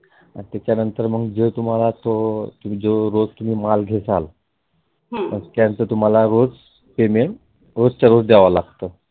अता त्याच्या नंतर मग तुम्ही जो रोज तुम्ही माल घेताल त्याच तुम्हाला Payment रोज च रोज द्यावा लागतंं.